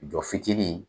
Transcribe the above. Jɔ fitiinin